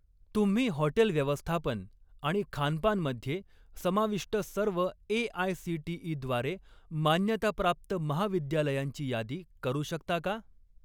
तुम्ही हॉटेल व्यवस्थापन आणि खानपान मध्ये समाविष्ट सर्व ए.आय.सी.टी.ई. द्वारे मान्यताप्राप्त महाविद्यालयांची यादी करू शकता का?